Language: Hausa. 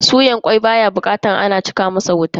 Soya kwai baya bukatar a cika masa wuta in ba haka ba zai kone.